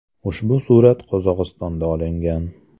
Ushbu surat Qozog‘istonda olingan.